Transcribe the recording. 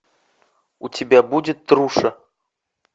у тебя будет труша